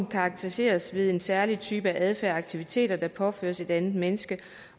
karakteriseres ved en særlig type adfærd og aktiviteter der påføres et andet menneske